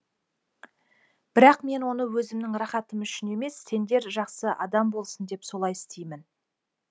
бірақ мен оны өзімнің рахатым үшін емес сендер жақсы адам болсын деп солай істеймін